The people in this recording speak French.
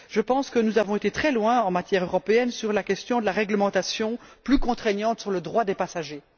Je pense que nous avons été très loin, au niveau européen sur la question de la réglementation plus contraignante en matière de droits des passagers.